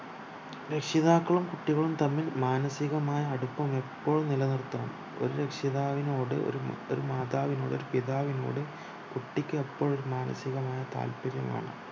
രക്ഷിതാക്കളും കുട്ടികളും തമ്മിൽ മാനസികമായ അടുപ്പം എപ്പോളും നിലനിർത്തണം ഒരു രക്ഷിതാവിനോട് ഒരു ഒരു മതിവിനോട് ഒരു പിതാവിനോട് കുട്ടിക്ക് എപ്പോളും മാനസികമായ താല്പര്യം വേണം